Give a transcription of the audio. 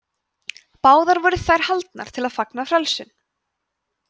báðar voru þær haldnar til að fagna frelsun